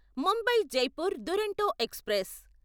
Mumbai Jaipur Duronto express